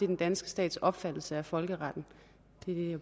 den danske stats opfattelse af folkeretten